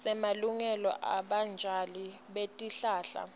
semalungelo ebatjali betihlahla